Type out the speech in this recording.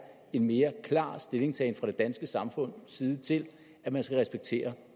en mere klar stillingtagen fra det danske samfunds side til at man skal respektere